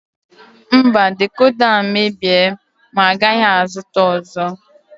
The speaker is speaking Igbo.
Mba decoda a mebie m agaghị azụta ọzọ.